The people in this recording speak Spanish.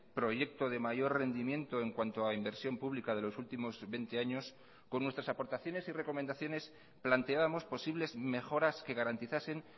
proyecto de mayor rendimiento en cuanto a inversión pública de los últimos veinte años con nuestras aportaciones y recomendaciones planteábamos posibles mejoras que garantizasen